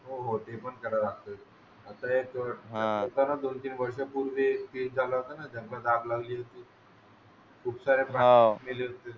हो हो ते पण करायला लागेल आता एक होता ना दोन-तीन वर्षांपूर्वी केस झाला होता जंगलाला आग लागली होती खूप सारे प्राणी मेले होते.